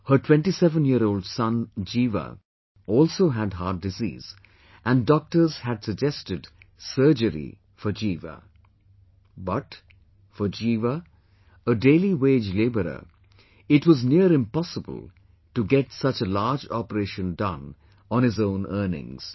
Her 27yearold son Jeeva also had heart disease and Doctors had suggested surgery for Jeeva, but, for Jeeva, a daily wage laborer, it was near impossible to get such a large operation done on his own earnings